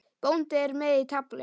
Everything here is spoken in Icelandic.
Bóndi er með í tafli.